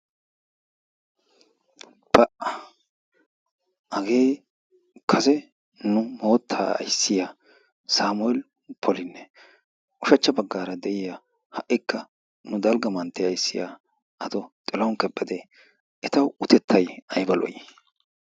hagee kase nu mootaa ayssiya sameel poli ushschcha bagaara de'iyaage ha'ikka nu dalga mantiya ayssiya ato tilahuni kabadi eta utettay ayba lo'ii?